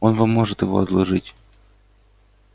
он вам может его одолжить